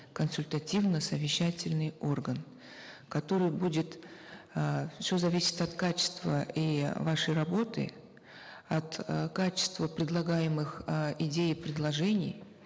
консультативно совещательный орган который будет э все зависит от качества и вашей работы от э качества предлагаемых э идей и предложений